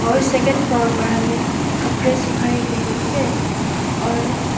और second floor पर हमे कपड़े सुखाए गए है और--